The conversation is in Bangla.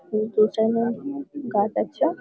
সেই পিছনে গাছ আছে --